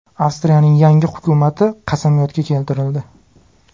Avstriyaning yangi hukumati qasamyodga keltirildi.